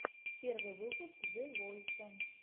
первый выпуск зе войса